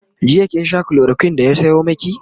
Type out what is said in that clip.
jiya kin Sha chloroquine da ya Sayo maki?